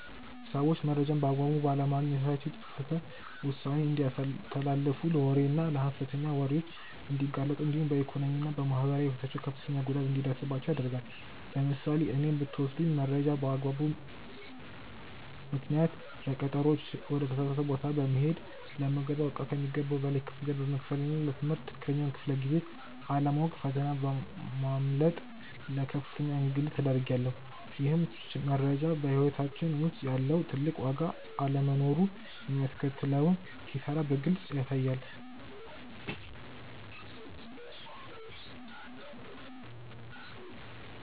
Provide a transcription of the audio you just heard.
ሰዎች መረጃን በአግባቡ ባለማግኘታቸው የተሳሳተ ውሳኔ እንዲያስተላልፉ ለወሬና ለሐሰተኛ ወሬዎች እንዲጋለጡ እንዲሁም በኢኮኖሚና በማህበራዊ ሕይወታቸው ከፍተኛ ጉዳት እንዲደርስባቸው ያደርጋል። ለምሳሌ እኔን ብትወስዱኝ መረጃ ባለመኖሩ ምክንያት ለቀጠሮዎች ወደ ተሳሳተ ቦታ በመሄድ፣ ለምገዛው እቃ ከሚገባው በላይ ክፍያ በመክፈልና ለ ትምህርት ትክክለኛውን ክፍለ-ጊዜ አለማወቅ ፈተና በማምለጥ ለከፍተኛ እንግልት ተዳርጌያለሁ። ይህም መረጃ በሕይወታችን ውስጥ ያለውን ትልቅ ዋጋና አለመኖሩ የሚያስከትለውን ኪሳራ በግልጽ ያሳያል።